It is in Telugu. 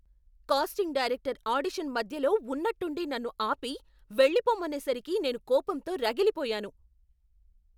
కాస్టింగ్ డైరెక్టర్ ఆడిషన్ మధ్యలో ఉన్నట్టుండి నన్ను ఆపి, వెళ్ళిపోమ్మనేసరికి నేను కోపంతో రగిలిపోయాను.